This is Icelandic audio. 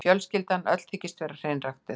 Fjölskyldan öll þykist vera hreinræktuð.